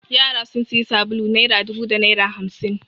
Yara sun sayi sabulu naira dubu da naira hamsin.